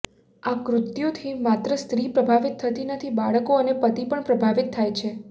આ કૃત્યુથી માત્ર સ્ત્રી પ્રભાવિત થતી નથી બાળકો અને પતિ પણ પ્રભાવિત થાય છે